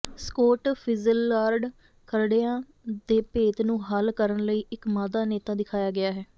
squad Fitzgerald ਖਰੜਿਆਂ ਦੇ ਭੇਤ ਨੂੰ ਹੱਲ ਕਰਨ ਲਈ ਇੱਕ ਮਾਦਾ ਨੇਤਾ ਦਿਖਾਇਆ ਗਿਆ ਹੈ